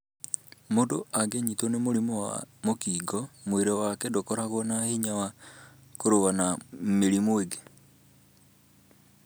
Mũndũ angĩnyitwo nĩ mũrimũ wa HIV, mwĩrĩ wake ndũkoragwo na hinya wa kũrũa na mĩrimũ ĩngĩ.